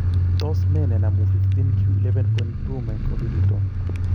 Tos nee ne namu 15q11.2 microdeleton